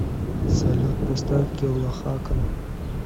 салют поставь килла хакан